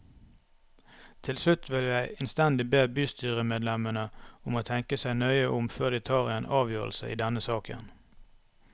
Til slutt vil jeg innstendig be bystyremedlemmene om å tenke seg nøye om før de tar en avgjørelse i denne saken.